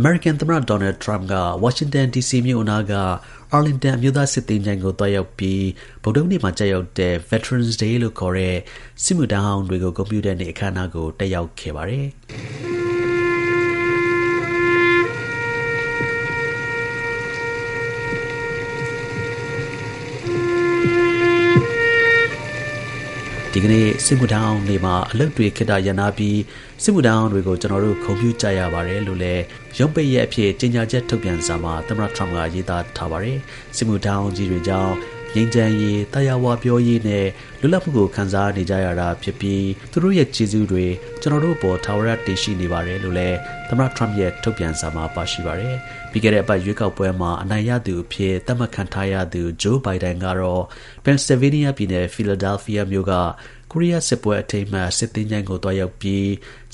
အမေရိကန်သမ္မတ ဒေါ်နယ်ထရမ့်က ဝါရှင်တန်ဒီစီမြို့အနားက Arlington အမျိုးသား စစ်သင်္ချိုင်းကို သွားရောက်ပြီး ဗုဒ္ဓဟူးနေ့မှာ ကျရောက်တဲ့ Veterans Day လို့ ခေါ်တဲ့ စစ်မှုထမ်းဟောင်းတွေကို ဂုဏ်ပြုတဲ့နေ့အခမ်းအနားကို တက်ရောက်ခဲ့ပါတယ်။ ဒီကနေ့ စစ်မှုထမ်းဟောင်းနေ့မှာ အလုပ်တွေ ခေတ္တရပ်နားပြီး စစ်မှုထမ်းဟောင်းတွေကို ကျွန်တော်တို့ ဂုဏ်ပြု ကြရပါတယ်လို့လည်း ရုံးပိတ်ရက်အဖြစ် ကြေညာချက် ထုတ်ပြန်စာမှာ သမ္မတ ထရမ့်က ရေးသားထားပါတယ်။ စစ်မှုထမ်းဟောင်းကြီးတွေကြောင့် ငြိမ်းချမ်းရေး၊ သာယာဝပြောရေးနဲ့ လွတ်လပ်မှုကို ခံစားနေကြရတာ ဖြစ်ပြီး သူတို့ ရဲ့ ကျေးဇူးတွေ ကျွန်တော်တို့အပေါ် ထာဝရ တင်ရှိနေပါတယ်လို့လည်း သမ္မတ ထရမ့်ရဲ့ ထုတ်ပြန်စာမှာ ပါရှိပါတယ်။ ပြီးခဲ့တဲ့ အပတ် ရွေးကောက်ပွဲမှာ အနိုင်ရသူအဖြစ် သတ်မှတ်ခံထားရသူ Joe Biden ကတော့ ပန်ဆဲလ်ဗေးနီးယားပြည်နယ်၊Philadelphia မြို့က ကိုရီးယား စစ်ပွဲ အထိမ်းအမှတ် စစ်သင်္ချိုင်းကို သွားရောက်ပြီး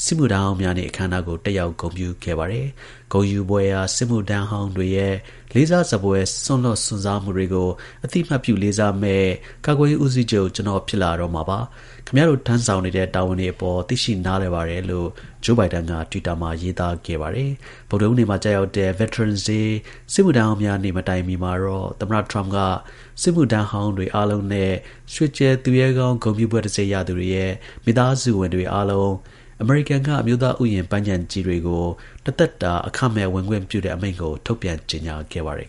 စစ်မှုထမ်းဟောင်းများနေ့ အခမ်းအနားကို တက်ရောက် ဂုဏ်ပြု ခဲ့ပါတယ်။ ဂုဏ်ယူဖွယ်ရာ စစ်မှုထမ်းဟောင်းတွေရဲ့ လေးစားစဖွယ် စွန့်လွှတ်စွန့်စားမှုတွေကို အသိအမှတ်ပြု လေးစားမယ့် ကာကွယ်ရေး ဦးစီးချုပ် ကျွန်တော်ဖြစ်လာတော့မှာပါ။ ခင်ဗျားတို့ ထမ်းဆောင်နေတဲ့ တာဝန်တွေအပေါ် သိရှိနားလည်ပါတယ်လို့ Joe Biden က တွစ်တာမှာ ရေးသား ခဲ့ပါတယ်။ ဗုဒ္ဓဟူးနေ့မှာ ကျရောက်တဲ့ Veterans Day စစ်မှုထမ်းဟောင်းများ နေ့ မတိုင်မီမှာတော့ သမ္မတ ထရမ့်က စစ်မှုထမ်းတွေ အားလုံးနဲ့ ရွှေကြယ်သူရဲကောင်းဂုဏ်ပြုဘွဲ့တံဆိပ်ရသူတွေရဲ့မိသားစုတွေ အားလုံးအမေရိကန်က အမျိုးသားဥယျာဉ်ပန်းခြံကြီးတွေကို တစ်သက် တာ အခမဲ့ ဝင်ခွင့်ပြု တဲ့ အမိန့်ကို ထုတ်ပြန်ကြေညာခဲ့ပါတယ်